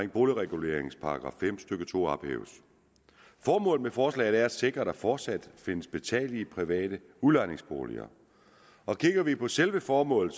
i boligreguleringslovens § fem stykke to ophæves formålet med forslaget er at sikre at der fortsat findes betalelige private udlejningsboliger og kigger vi på selve formålet